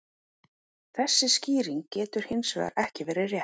þessi skýring getur hins vegar ekki verið rétt